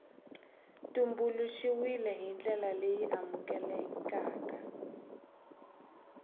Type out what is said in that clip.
tumbuluxiwile hi ndlela leyi amukelekaka